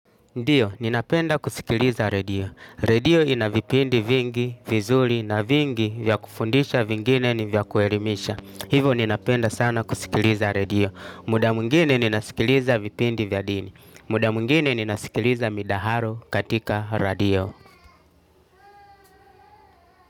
Ndiyo, ninapenda kusikiliza redio. Redio ina vipindi vingi, vizuri na vingi vya kufundisha vingine ni vya kuelimisha. Hivyo ninapenda sana kusikiliza redio. Muda mwingine ninasikiliza vipindi vya dini. Muda mwingine ninasikiliza midaharo katika redio.